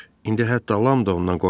İndi hətta Lam da ondan qorxmurdu.